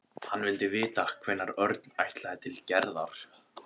Hann vildi vita hvenær Örn ætlaði til Gerðar.